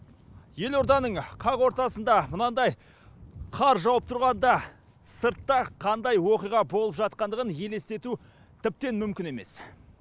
елорданың қақ ортасында мынандай қар жауып тұрғанда сыртта қандай оқиға болып жатқандығын елестету тіптен мүмкін емес